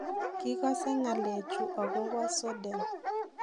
Kirikase ngalek chu akobo Sweden?